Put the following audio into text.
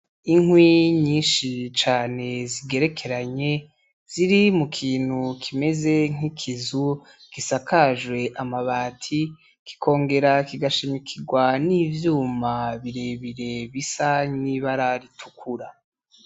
Inkwi nyinshi cane zigerekeranye ziri mu kintu kimeze nk’ikizu gisakajwe amabati kikongera kigashimikirwa n’ivyuma birebire bisa n’ibara ritukura.